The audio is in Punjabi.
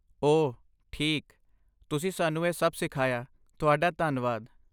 ਓਹ, ਠੀਕ, ਤੁਸੀਂ ਸਾਨੂੰ ਇਹ ਸਭ ਸਿਖਾਇਆ, ਤੁਹਾਡਾ ਧੰਨਵਾਦ।